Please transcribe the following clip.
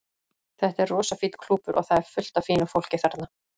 Þetta er rosa fínn klúbbur og það er fullt af fínu fólki þarna.